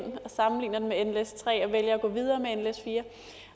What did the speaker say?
og sammenligner den med at gå videre med nles4